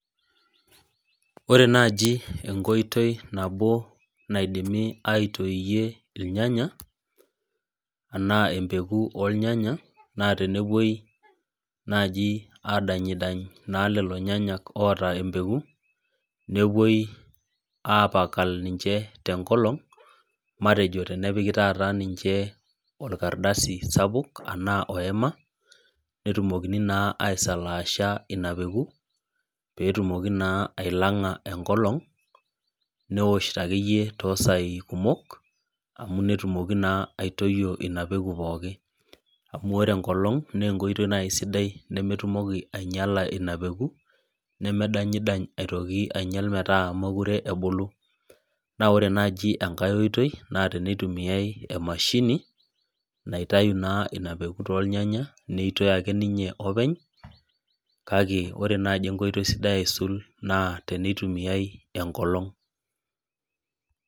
Ore naaji enkoitoi nabo naidimi aitoiyie irnyanaya, anaa empeku ornyanya, naa tenepui naaji aadany naa lelolo nyanya oota empeku, nepuoi aapakal nyinche tenkolong. Matejo tenepiki taata niche orkadasi sapuk anaa oima. Netumokini taa aisalaasha ina peku. Peetumoki naa ilanga enkolong. Nesho akeyie toosai kumok. Netumoki naa aitoyio ina peku pooki. Amuu ore enkolong naa enkoitoi sidai nemetumoki ainyala ina peku, neme danyidany aitoki metaa meekure ebulu. Naa ore naaji enkai oitoi naa tenetumia emashini naitayu naa inapeku toornyanya neitoi ake ninye openy. Kake ore naaji enkoitoi sidai aisul naa teneitumiai enkolong.